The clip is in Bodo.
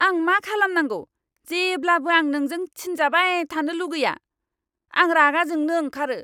आं मा खालामनांगौ जेब्लाबो आं नोंजों थिनजाबाय थानो लुगैया। आं रागा जोंनो ओंखारो।